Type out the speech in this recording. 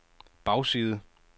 bagside